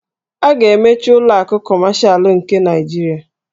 A ga-emechi ụlọ akụ Kọmashal nke Naịjirịa.